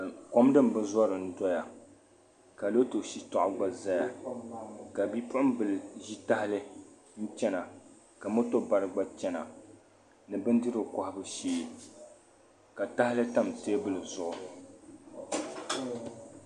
Kom din bi zɔra n-dɔya ka loto shitɔɣu gba zaya ka bipuɣimbila ʒi tahali n-chana ka moto bara gba chana ni bindirigu kɔhibu shee ka tahali tam teebuli zuɣu.